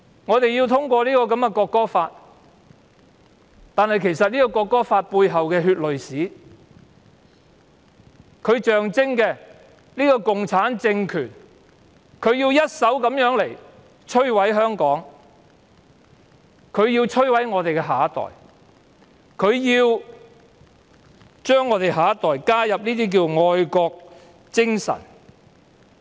我們要審議《條例草案》，但其實《中華人民共和國國歌法》背後血淚史所象徵的共產政權，正要一手摧毀香港和我們的下一代，對青年人強加愛國精神。